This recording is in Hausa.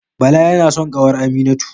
Bala yana son kawar Aminatu